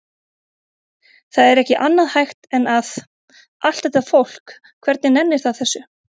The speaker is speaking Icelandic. Það er ekki annað hægt en að. allt þetta fólk, hvernig nennir það þessu?